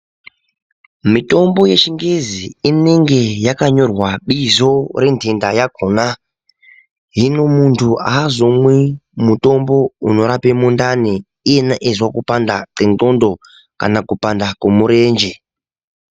Mitombo yechingezi inenge yakanyorwa bizo rententa yakhona hino muntu aazomwi mutombo unorapa mundani iyena izwa kupanda kwendxondo kana kupanda kwemurenje.